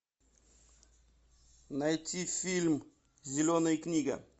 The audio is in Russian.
найти фильм зеленая книга